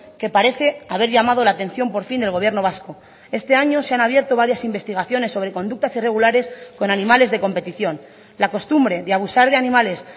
que parece haber llamado la atención por fin del gobierno vasco este año se han abierto varias investigaciones sobre conductas irregulares con animales de competición la costumbre de abusar de animales